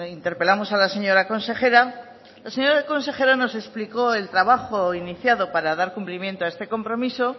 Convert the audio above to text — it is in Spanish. interpelamos a la señora consejera la señora consejera nos explicó el trabajo iniciado para dar cumplimiento a este compromiso